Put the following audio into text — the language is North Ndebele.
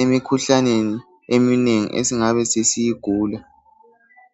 emikhuhlaneni eminengi esingabe siyigula